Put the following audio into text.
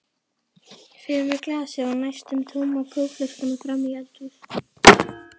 Fer með glasið og næstum tóma kókflöskuna fram í eldhús.